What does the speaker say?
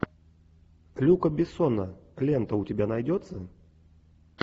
люка бессона лента у тебя найдется